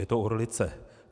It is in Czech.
Je to orlice.